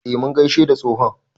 E, mun gaishe da tsohon.